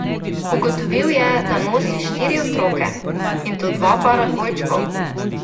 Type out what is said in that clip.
Ugotovil je, da nosi štiri otroke, in to dva para dvojčkov.